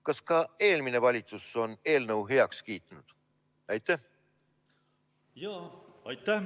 Kas ka eelmine valitsus on eelnõu heaks kiitnud?